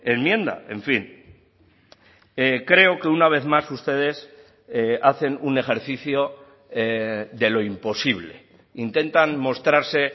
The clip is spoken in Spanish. enmienda en fin creo que una vez más ustedes hacen un ejercicio de lo imposible intentan mostrarse